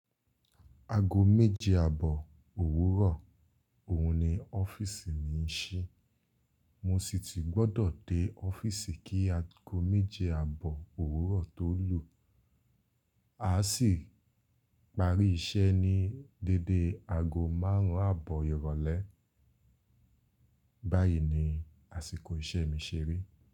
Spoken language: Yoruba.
Aago méje àbọ̀ òwúrọ̀, òhun ni ọ́fíìsì mi ń ṣí, mo sì ti gbọ́dọ̀ dé ọ́fíìsì kí aago méje àbọ̀ òwúrọ̀ tó lù. A sì parí iṣẹ́ ní dédé aago márùn-ún àbọ̀ ìrọ̀lẹ́. Báyìí ni àsìkò iṣẹ́ mi ṣeré.